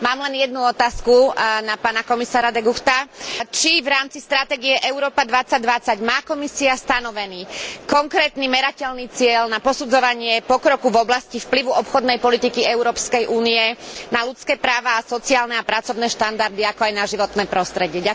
Mám len jednu otázku na pána komisára De Guchta Či v rámci stratégie Európa 2020 má Komisia stanovený konkrétny merateľný cieľ na posudzovanie pokroku v oblasti vplyvu obchodnej politiky Európskej únie na ľudské práva a sociálne a pracovné štandardy, ako aj na životné prostredie?